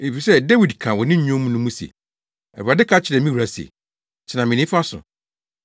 Efisɛ Dawid ka wɔ ne Nnwom no mu se, “Awurade ka kyerɛɛ me wura se: ‘Tena me nifa so